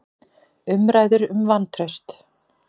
Umræður um vantraust